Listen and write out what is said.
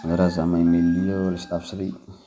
qandaraas, ama email la is dhaafsaday.